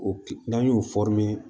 O ki n'an y'o